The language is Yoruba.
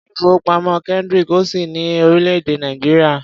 Ilé-ìfowópamọ́ Kendric ò sí ní orílẹ̀-èè Nàìjíríà.